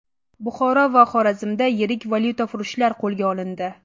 Buxoro va Xorazmda yirik valyutafurushlar qo‘lga olindi .